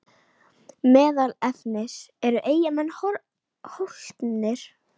Meðal efnis: Eru Eyjamenn hólpnir?